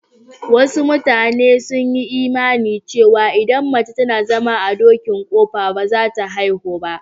Wasu matanen sun yi imani cewa idan mace tana zama a dokin ƙofa ba za ta haihu ba.